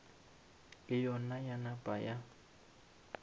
le yona ya napa ya